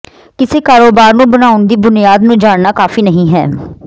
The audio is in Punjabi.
ਕਿਸੇ ਕਾਰੋਬਾਰ ਨੂੰ ਬਣਾਉਣ ਦੀ ਬੁਨਿਆਦ ਨੂੰ ਜਾਣਨਾ ਕਾਫ਼ੀ ਨਹੀਂ ਹੈ